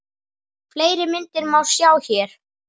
Fleiri myndir má sjá hér